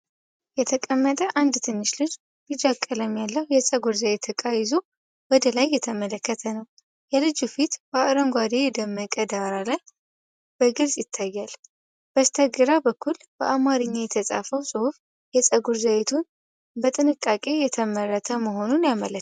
የተቀመጠ አንድ ትንሽ ልጅ ቢጫ ቀለም ያለው የፀጉር ዘይት እቃ ይዞ ወደላይ እየተመለከተ ነው። የልጁ ፊት በአረንጓዴ የደመቀ ዳራ ላይ በግልጽ ይታያል። በስተግራ በኩል በአማርኛ የተጻፈው ጽሑፍ የፀጉር ዘይቱን በጥንቃቄ የተመረተ መሆኑን ያመለክታል።